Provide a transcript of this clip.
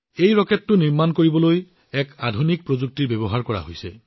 এই ৰকেটটো তৈয়াৰ কৰাত আন এটা আধুনিক প্ৰযুক্তি ব্যৱহাৰ কৰা হৈছে